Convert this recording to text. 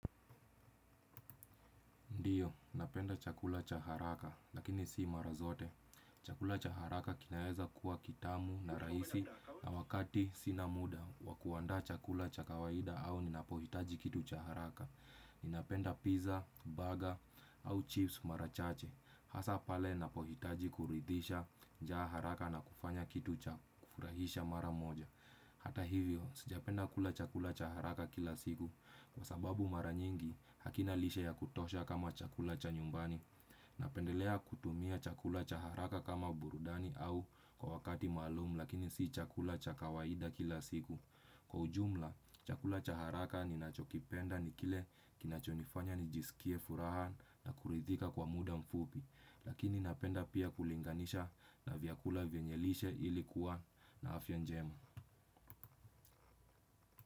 Ndio, napenda chakula cha haraka, lakini si mara zote. Chakula cha haraka kinaweza kuwa kitamu na rahisi na wakati sina muda. Wa kuandaa chakula cha kawaida au ninapohitaji kitu cha haraka. Ninapenda pizza, burger au chips mara chache. Hasa pale napohitaji kuridhisha njaa haraka na kufanya kitu cha kufurahisha mara moja. Hata hivyo, sijapenda kula chakula cha haraka kila siku. Kwa sababu mara nyingi, hakina lishe ya kutosha kama chakula cha nyumbani. Napendelea kutumia chakula cha haraka kama burudani au kwa wakati maalum lakini si chakula cha kawaida kila siku. Kwa ujumla, chakula cha haraka ninachokipenda ni kile kinachonifanya nijisikie furaha na kuridhika kwa muda mfupi. Lakini napenda pia kulinganisha na vyakula vyenye lishe ili kuwa na afya njema.